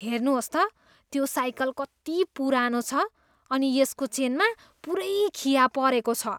हेर्नुहोस् त, त्यो साइकल कति पुरानो छ अनि यसको चेनमा पुरै खिया परेको छ।